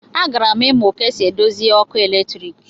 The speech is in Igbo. A gara'm imu ka esi edozi òkù eletrik.